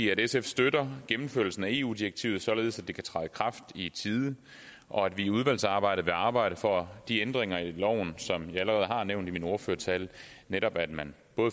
sf støtter gennemførelsen af eu direktivet således at det kan træde i kraft i tide og at vi i udvalgsarbejdet vil arbejde for de ændringer af loven som jeg allerede har nævnt i min ordførertale netop at man